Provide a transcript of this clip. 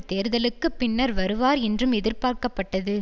தேர்தல்களுக்கு பின்னர் வருவார் என்றும் எதிர்பார்க்கப்பட்டது